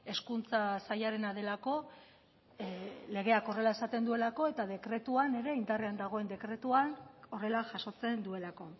hezkuntza sailarena delako legeak horrela esaten duelako eta dekretuan ere indarrean dagoen dekretuan horrela jasotzen duelako